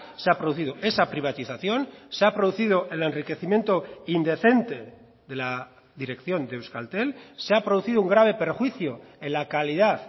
se ha producido esa privatización se ha producido el enriquecimiento indecente de la dirección de euskaltel se ha producido un grave perjuicio en la calidad